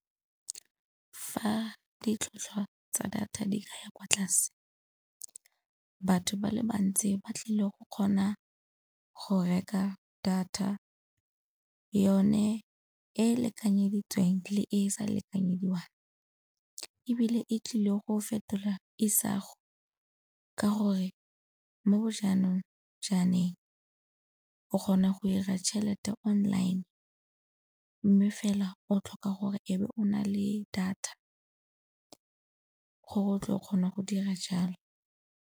Fa ditlhwatlhwa tsa data di ka ya kwa tlase batho ba le bantsi ba tlile go kgona go reka data, yone e lekanyeditsweng le e sa lekanyediwang. Ebile e tlile go fetola isago ka gore mo bo jaanong jaaneng o kgona go 'ira tšhelete online mme fela o tlhoka gore e be o na le data gore o tle o kgone go dira jalo.